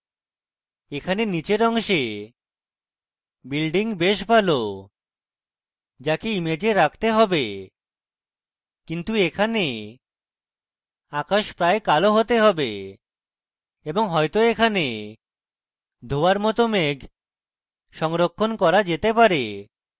এখানে নীচের অংশে building বেশ ভালো যাকে image রাখতে হবে কিন্তু এখানে আকাশ প্রায় কালো হতে হবে এর মত বাস্তবে কালো হওয়া উচিত নয় এবং হয়তো এখানে ধোয়ার মত মেঘ সংরক্ষণ করা যেতে পারে